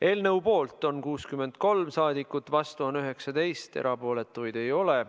Eelnõu poolt on 63 saadikut, vastu on 19, erapooletuid ei ole.